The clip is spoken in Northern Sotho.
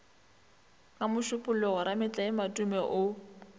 ka mošupologo rametlae matome o